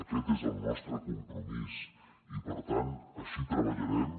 aquest és el nostre compromís i per tant així treballarem